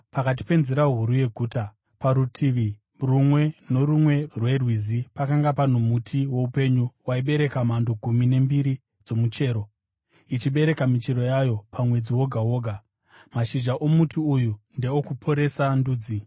pakati penzira huru yeguta. Parutivi rumwe norumwe rwerwizi pakanga pano muti woupenyu, waibereka mhando gumi nembiri dzomuchero, ichibereka michero yayo pamwedzi woga woga. Mashizha omuti uyu ndeokuporesa ndudzi.